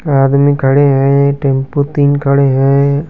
एक आदमी खड़े हैं टेंपो तीन खड़े हैं।